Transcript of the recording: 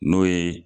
N'o ye